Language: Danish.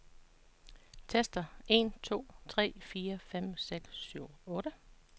Tester en to tre fire fem seks syv otte.